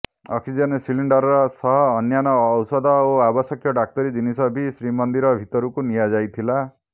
oxygen cylinder ସହ ଅନ୍ୟାନ୍ୟ ଔଷଧ ଓ ଆବଶ୍ୟକ ଡାକ୍ତରୀ ଜିନିଷ ବି ଶ୍ରୀମନ୍ଦିର ଭିତରକୁ ନିଆଯାଇଥିଲା